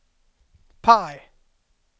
PIE